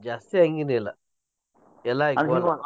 ಜಾಸ್ತಿ ಹಂಗೇನಿಲ್ಲ ಎಲ್ಲಾ ಅಕ್ಕ್ಯವ್ .